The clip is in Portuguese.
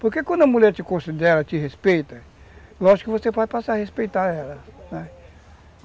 Porque quando a mulher te considera, te respeita, lógico que você vai passar a respeitar ela, né.